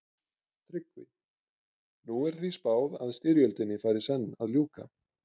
TRYGGVI: Nú er því spáð að styrjöldinni fari senn að ljúka.